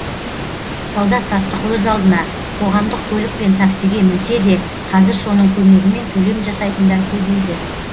сауда саттық өз алдына қоғамдық көлік пен таксиге мінсе де қазір соның көмегімен төлем жасайтындар көбейді